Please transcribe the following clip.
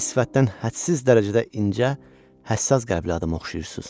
Siz sifətdən hədsiz dərəcədə incə, həssas qəlbli adama oxşayırsız.